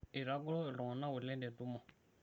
eitagoro iltunganak oleng te ntumu